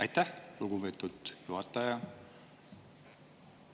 Aitäh, lugupeetud juhataja!